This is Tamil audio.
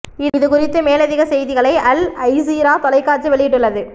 இது குறித்து மேலதிகச் செய்திகளை அல் ஜசீரா தொலைக்காட்சி வெளியிட்டுள்ளது